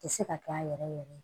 Tɛ se ka kɛ a yɛrɛ yɛrɛ ye